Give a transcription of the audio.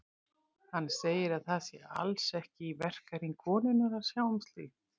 Hann segir að það sé alls ekki í verkahring konunnar að sjá um slíkt.